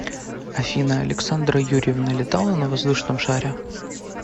афина александра юрьевна летала на воздушном шаре